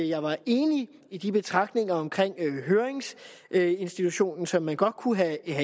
jeg var enig i de betragtninger omkring høringsinstitutionen som man godt kunne have